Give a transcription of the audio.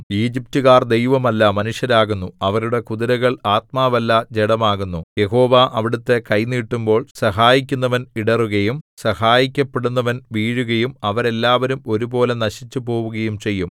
ഈജിപ്റ്റുകാർ ദൈവമല്ല മനുഷ്യരാകുന്നു അവരുടെ കുതിരകൾ ആത്മാവല്ല ജഡമാകുന്നു യഹോവ അവിടുത്തെ കൈ നീട്ടുമ്പോൾ സഹായിക്കുന്നവൻ ഇടറുകയും സഹായിക്കപ്പെടുന്നവൻ വീഴുകയും അവരെല്ലാവരും ഒരുപോലെ നശിച്ചുപോവുകയും ചെയ്യും